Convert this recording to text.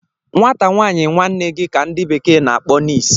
Nwata nwaanyi nwanne gi ka ndi bekee n'akpo, niece